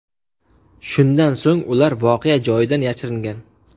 Shundan so‘ng ular voqea joyidan yashiringan.